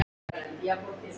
Ég sný mér undan.